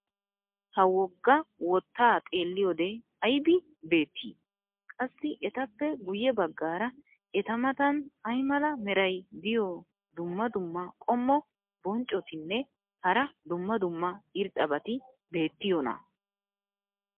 ha woga wotaa xeeliyoode aybi beetii? qassi etappe guye bagaara eta matan ay mala meray diyo dumma dumma qommo bonccotinne hara dumma dumma irxxabati beetiyoonaa?